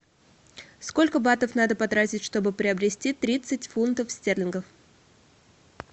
сколько батов надо потратить чтобы приобрести тридцать фунтов стерлингов